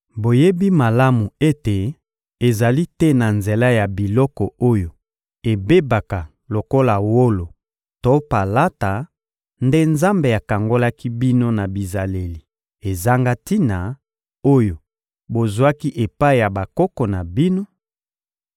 Boyebi malamu ete ezali te na nzela ya biloko oyo ebebaka lokola wolo to palata nde Nzambe akangolaki bino na bizaleli ezanga tina, oyo bozwaki epai ya bakoko na bino,